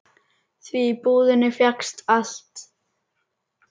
Því í búðinni fékkst allt.